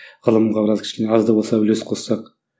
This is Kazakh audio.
ғылымға біраз кішкене аз да болса үлес қоссақ